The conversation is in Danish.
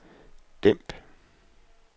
dæmp